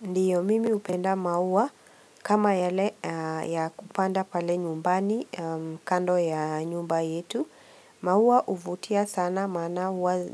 Ndiyo mimi hupenda maua kama yale ya kupanda pale nyumbani kando ya nyumba yetu, maua huvutia sana maana huwa